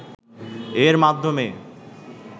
এর মাধ্যমে